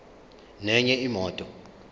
nenye imoto